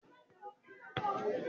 bẹ́ẹ̀ni, akọ́lé ni mí.